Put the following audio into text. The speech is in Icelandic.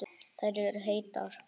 Þær eru heitar.